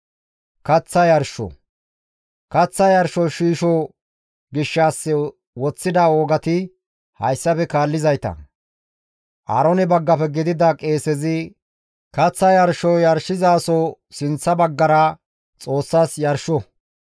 «Kaththa yarsho shiisho gishshas woththida wogati hayssafe kaallizayta; Aaroone baggafe gidida qeesezi kaththa yarsho yarshizaso sinththa baggara Xoossas yarsho.